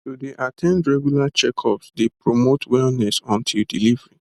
to dey at ten d regular checkups dey promote wellness until delivery